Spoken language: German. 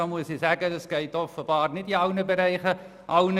Dazu muss ich sagen, dass dies nicht für alle Bereiche gilt.